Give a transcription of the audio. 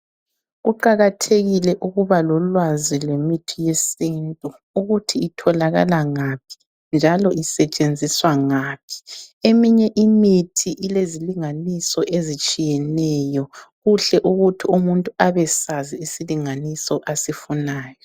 Kuqakathekile ukuba lolwazi lemithi yesintu, ukuthi itholakala ngaphi njalo isetshenziswa ngaphi. Eminye imithi ilezilinganiso ezitshiyeneyo, kuhle ukuthi umuntu abesazi isilinganiso asifunayo.